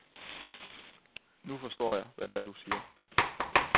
Nu forstår jeg, hvad det er, du siger.